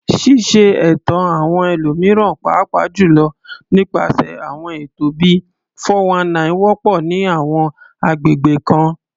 Ṣíṣe ẹ̀tàn àwọn ẹlòmíràn, pàápàá jùlọ nípasẹ̀ àwọn ètò bíi "419," wọ́pọ̀ ní àwọn agbègbè kan.